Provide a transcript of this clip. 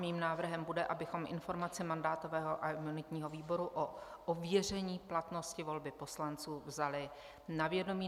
Mým návrhem bude, abychom informaci mandátového a imunitního výboru o ověření platnosti volby poslanců vzali na vědomí.